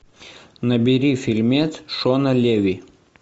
набери фильмец шона леви